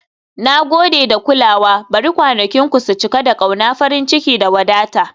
Na gode da kulawa, bari kwanakinku su cika da ƙauna, farin ciki, da wadata. "